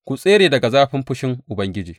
Ku tsere daga zafin fushin Ubangiji.